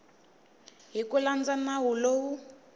hi ku landza nawu lowu